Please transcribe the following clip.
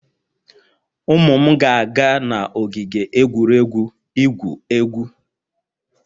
Ụmụ m ga-aga n'ogige egwuregwu igwu egwu